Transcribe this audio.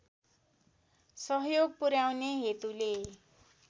सहयोग पुर्‍याउने हेतुले